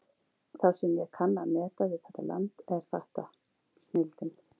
Það sem ég kann að meta við þetta land er þetta: snilldin.